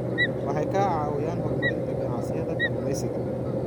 Waxay ka caawiyaan horumarinta ganacsiyada kalluumeysiga.